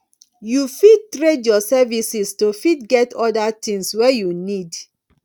you fit trade your services to fit get oda things wey you need